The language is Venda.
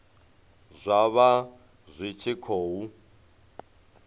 zwa vha zwi tshi khou